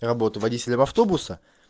работу водителя автобуса